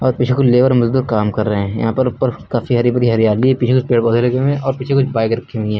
और पीछे कुछ लेबर मजदूर काम कर रहे हैं। यहां पर ऊपर काफी हरी भरी हरियाली है। पीछे कुछ पेड़ पौधे लगे हुए हैं और पीछे कुछ बाइक रखी हुई हैं।